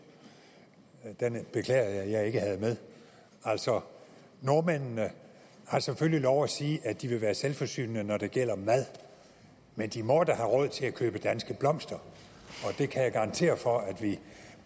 den beklager jeg at jeg ikke havde med altså nordmændene har selvfølgelig lov til at sige at de vil være selvforsynende når det gælder mad men de må da have råd til at købe danske blomster og det kan jeg garantere for at vi